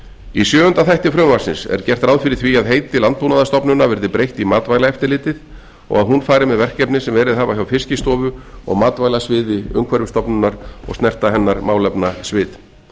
í sjöunda þætti frumvarpsins er gert ráð fyrir því að heiti landbúnaðarstofnunar verði breytt í matvælaeftirlitið og að hún fari með verkefni sem verið hafa hjá fiskistofu og matvælasviði umhverfisstofnunar og snerta hennar málefnasvið